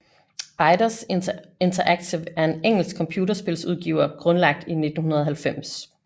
Eidos Interactive er en engelsk computerspilsudgiver grundlagt i 1990